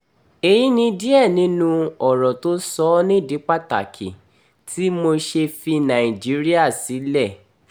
èyí ni díẹ̀ nínú ọ̀rọ̀ tó sọ ọ́ nídìí pàtàkì tí mo ṣe fi nàìjíríà sílẹ̀